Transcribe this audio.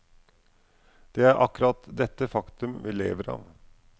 Det er akkurat dette faktum vi lever av.